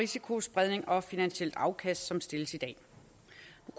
risikospredning og finansielt afkast som der stilles i dag